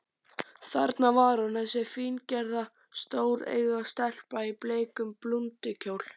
Þarna var hún, þessi fíngerða, stóreygða stelpa í bleikum blúndukjól.